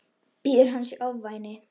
Bíður hans í ofvæni.